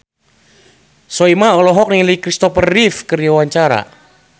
Soimah olohok ningali Kristopher Reeve keur diwawancara